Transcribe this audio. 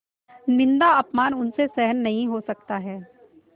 निन्दाअपमान उनसे सहन नहीं हो सकता है